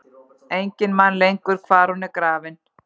Enginn man lengur hvar hún er grafin.